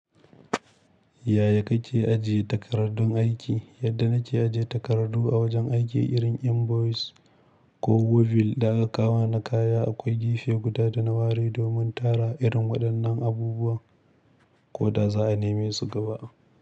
Yaya kake ajiye takardun aiki? Yadda nake ajiye takardu a wajen aiki irin invoice ko wubil da aka kawo na kaya, akwai gefe guda da na ware domin tara irin waɗannan abubuwan. Ko da za a neme su gaba.